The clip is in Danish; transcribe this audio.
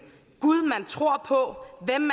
gud man tror på hvem